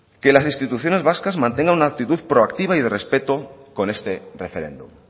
que las instituciones vascas mantengan una actitud proactiva y de respeto con este referéndum